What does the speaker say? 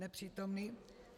Nepřítomný.